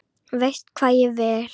Veist hvað ég vil.